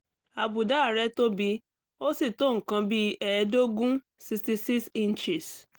àbùdá rẹ̀ tóbi ó sì tó nǹkan bí ẹ̀ẹ́dógún sixty six inches